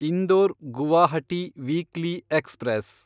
Indore Guwahati weekly express